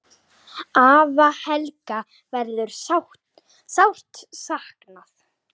Afa Helga verður sárt saknað.